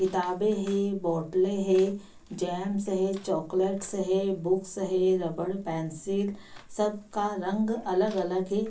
किताबे है बोतले है जैमस है चॉकलेट्स है बुक्स है रबड़ पेन्सिल सब का रंग अलग-अगल है।